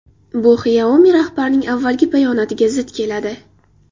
Bu Xiaomi rahbarining avvalgi bayonotiga zid keladi.